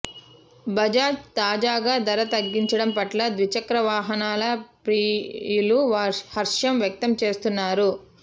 బజాజ్ తాజాగా ధర తగ్గించడం పట్ల ద్విచక్ర వాహనాల ప్రియులు హర్షం వ్యక్తం చేస్తున్నారు